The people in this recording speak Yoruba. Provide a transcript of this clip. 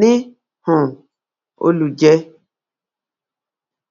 ní um olùjẹ